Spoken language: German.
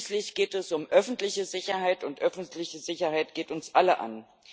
Schließlich geht es um die öffentliche Sicherheit, und öffentliche Sicherheit geht uns alle an.